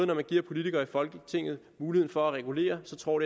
når man giver politikere i folketinget mulighed for at regulere så tror